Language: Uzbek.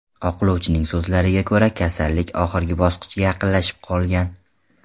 Oqlovchining so‘zlariga ko‘ra, kasallik oxirgi bosqichga yaqinlashib qolgan.